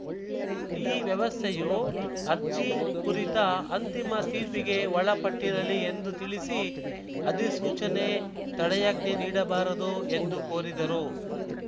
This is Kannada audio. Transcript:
ಈ ವ್ಯವಸ್ಥೆಯು ಅರ್ಜಿ ಕುರಿತ ಅಂತಿಮ ತೀರ್ಪಿಗೆ ಒಳಪಟ್ಟಿರಲಿ ಎಂದು ತಿಳಿಸಿ ಅಧಿಸೂಚನೆ ತಡೆಯಾಜ್ಞೆ ನೀಡಬಾರದು ಎಂದು ಕೋರಿದರು